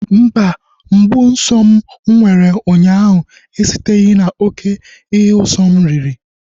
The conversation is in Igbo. Mba, mgbu nsọ m mụ nwere ụnyaahụ esiteghi na oké ihe usọ m riri